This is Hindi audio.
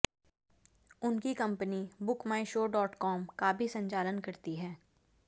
उनकी company Book My Show dot com का भी संचालन करती है